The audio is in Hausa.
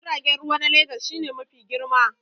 Tashar jiragen ruwa na Legas shi ne mafi girma